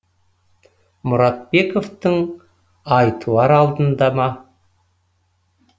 мұратбековтің ай туар алдында ма